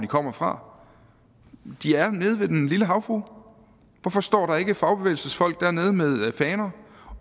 kommer fra de er nede ved den lille havfrue hvorfor står fagbevægelsens folk ikke dernede med faner